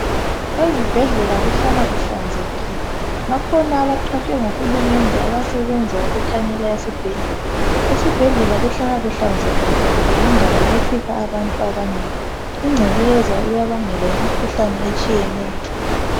Ezibhedlela kuhlala kuhlanzekile bakhona abaqatshwe ngohulumende abasebenza ukuthanyela isibhedlela esibhedlela kuhlala kuhlanzekile ngoba yindawo efika abantu abanengi incekeza iyabangela imikhuhlane etshiyeneyo.